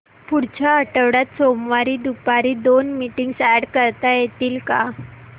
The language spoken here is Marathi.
पुढच्या आठवड्यात सोमवारी दुपारी दोन मीटिंग्स अॅड करता येतील का